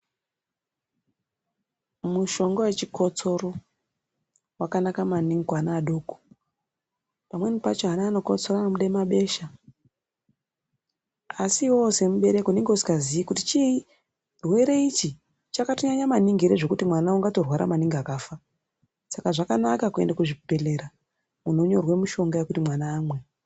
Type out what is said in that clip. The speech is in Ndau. Mushonga vechikotsoro vakanaka maningi kuana adoko. Pamweni pacho ana anokotsora anobude mabesha asi iveve semubereki unenge usingazii kuti chii chirwere ichi chakatonyanya maningi ere zvekuti mwana ungatorwa maningi ere akafa. Saka zvakanaka kuende kuzvibhedhera muntu onyorerwa mushonga vekuti mwana aone.